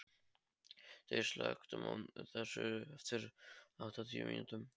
Styr, slökktu á þessu eftir áttatíu mínútur.